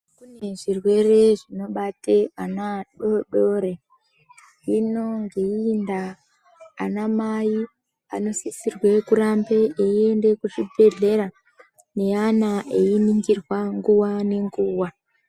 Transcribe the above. Kune zvirwere zvinobata ana adodori hino ngeiiyi ndaa anamai anosisira kurambe eiende kuzvibhedhleya neana einingirwa nguva nenguva.